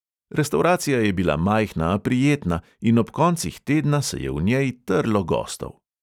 Restavracija je bila majhna, a prijetna, in ob koncih tedna se je v njej trlo gostov.